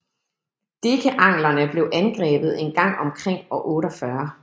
Dekeanglerne blev angrebet en gang omkring år 48